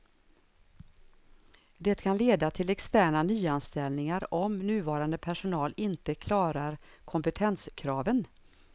Det kan leda till externa nyanställningar om nuvarande personal inte klarar kompetenskraven.